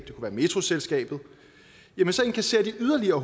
metroselskabet jamen så indkasserer de yderligere